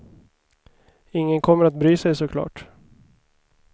Ingen kommer att bry sig, såklart.